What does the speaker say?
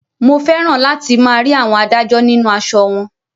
Mo fẹ́ràn láti máa rí àwọn adájọ́ nínú aṣọ wọn